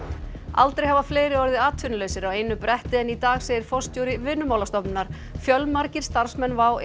aldrei hafa fleiri orðið atvinnulausir á einu bretti en í dag segir forstjóri Vinnumálastofnunar fjölmargir starfsmenn WOW